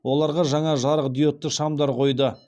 оларға жаңа жарықдиодты шамдар қойды